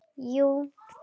Jú